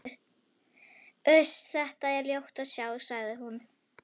Uss, þetta er ljótt að sjá, sagði hún.